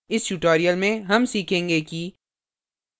इस tutorial में हम सीखेंगे कि